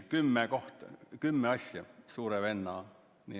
Kümme asja Suure Venna mängus.